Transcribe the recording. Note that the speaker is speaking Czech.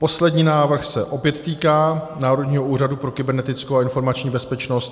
Poslední návrh se opět týká Národního úřadu pro kybernetickou a informační bezpečnost.